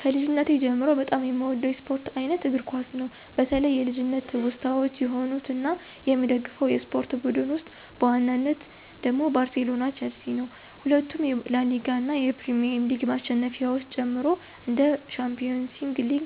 ከልጅነቴ ጀምሮ በጣም የምወደው የስፖርት አይነት እግር ኳስ ነው። በተለይ የልጅነት ትውስታዎች የሆኑት እና የምደግፈው የስፖርት ቡድን ውስጥ በዋናነት ደግሞ ባርሴሎና ቸልሲ ነው። ሁለቱም የላሊጋ እና የፕሪሚየር ሊግ ማሸነፊያዎችን ጨምሮ እንደ ሻምፒዮንስ ሊግ